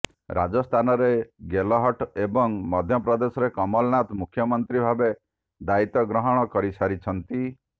ରାଜସ୍ଥାନରେ ଗେହଲଟ ଏବଂ ମଧ୍ୟପ୍ରଦେଶରେ କମଲନାଥ ମୁଖ୍ୟମନ୍ତ୍ରୀ ଭାବେ ଦାୟିତ୍ୱ ଗ୍ରହଣ କରି ସାରିଛନ୍ତି